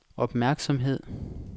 opmærksomhed